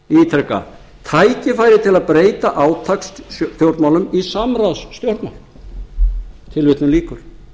ítreka tækifæri til að breyta átakastjórnmálum í samráðsstjórnmál tilvitnun lýkur